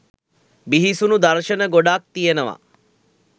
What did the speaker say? බිහිසුණු දර්ශන ගොඩාක් තියනවා